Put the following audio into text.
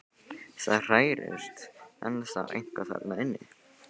Það hrærist ennþá eitthvað þarna inni.